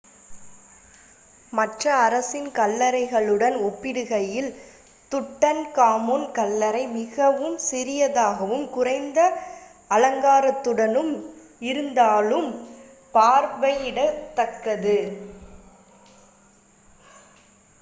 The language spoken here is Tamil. மற்ற அரச கல்லறைகளுடன் ஒப்பிடுகையில் துட்டன்காமுன் கல்லறை மிகவும் சிறியதாகவும் குறைந்த அலங்காரத்துடன் இருந்தாலும் பார்வையிடத்தக்கது